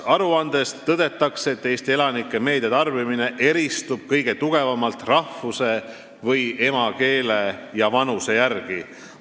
Aruandes tõdetakse, et Eesti elanike meediatarbimine eristub kõige rohkem rahvuse või emakeele ja vanuse järgi.